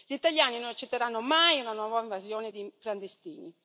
Gli italiani non accetteranno mai una nuova invasione di clandestini.